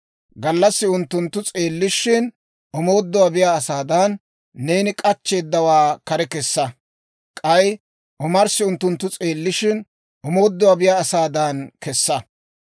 Gallassi unttunttu s'eellishshin, omooduwaa biyaa asaadan, neeni k'achcheeddawaa kare kessa; k'ay omarssi unttunttu s'eellishshin, omooduwaa biyaa asaadan kesa.